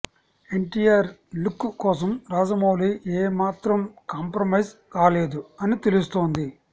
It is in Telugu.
ఎన్టీఆర్ లుక్ కోసం రాజమౌళి ఏ మాత్రం కాంప్రమైజ్ కాలేదు అని తెలుస్తోంది